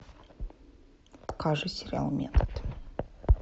покажи сериал метод